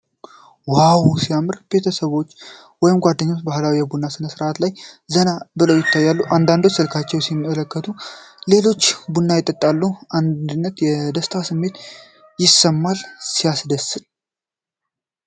ዋው ሲያምር! ቤተሰብ ወይም ጓደኞች በባህላዊ የቡና ሥነ-ሥርዓት ላይ ዘና ብለው ይታያሉ። አንዳንዶቹ ስልካቸውን ሲመለከቱ ሌሎች ቡና ይጠጣሉ። የአንድነትና የደስታ ስሜት ይሰማል። ሲያስደስት!